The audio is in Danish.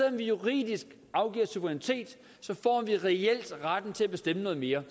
om vi juridisk afgiver suverænitet så får vi reelt retten til at bestemme noget mere